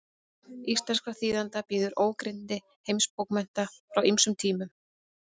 íslenskra þýðenda bíður ógrynni heimsbókmennta frá ýmsum tímum